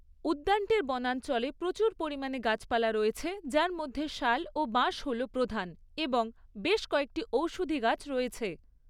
উদ্যানটির বনাঞ্চলে প্রচুর পরিমাণে গাছপালা রয়েছে যার মধ্যে শাল ও বাঁশ হল প্রধান এবং বেশ কয়েকটি ঔষধি গাছ রয়েছে।